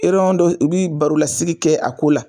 Eriyɔn dɔ u bɛ baro lasigi kɛ a ko la.